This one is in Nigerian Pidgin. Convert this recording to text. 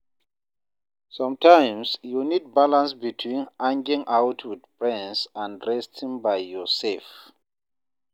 Sometimes, you need balance between hanging out with friends and resting by yourself.